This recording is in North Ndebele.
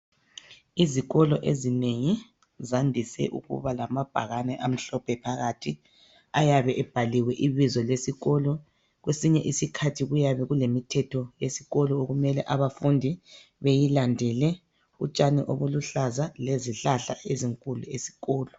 Izikolo ezinengi zandise ukuba lamabhakane amhlophe phakathi ayabe ebhaliwe ibizo lesikolo, kwesinye isikhathi kuyabe kulemithetho yesikolo okumele abafundi bayilandele, utshani obuluhlaza lezihlahla ezinkulu esikolo.